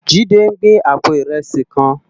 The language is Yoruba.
Jide n gbé àpó irèsí kán